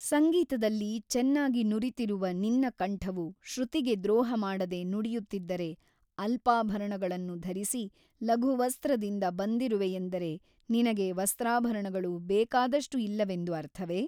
ಸಂಗೀತದಲ್ಲಿ ಚೆನ್ನಾಗಿ ನುರಿತಿರುವ ನಿನ್ನ ಕಂಠವು ಶ್ರುತಿಗೆ ದ್ರೋಹಮಾಡದೆ ನುಡಿಯುತ್ತಿದ್ದರೆ ಅಲ್ಪಾಭರಣಗಳನ್ನು ಧರಿಸಿ ಲಘುವಸ್ತ್ರದಿಂದ ಬಂದಿರುವೆಯೆಂದರೆ ನಿನಗೆ ವಸ್ತ್ರಾಭರಣಗಳು ಬೇಕಾದಷ್ಟು ಇಲ್ಲವೆಂದು ಅರ್ಥವೇ?